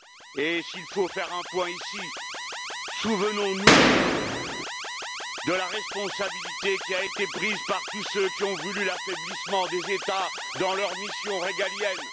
Et s'il faut faire un point, ici, souvenons nous de la responsabilité qui a été prise par tous ceux qui ont voulu l'affaiblissement des États dans leurs missions régaliennes.